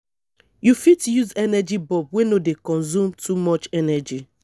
you fit use energy bulb wey no dey consume too much energy